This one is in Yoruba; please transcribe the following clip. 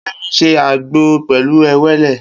Kemi n sé ágbó pèlú éwélé